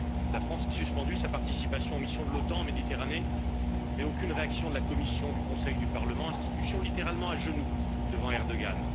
La France a suspendu sa participation aux missions de l'OTAN en Méditerranée, mais aucune réaction de la Commission, du Conseil, ni du Parlement, institutions littéralement à genoux devant Erdogan.